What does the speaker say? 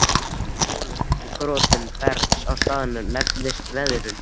Molnun og grotnun bergs á staðnum nefnist veðrun.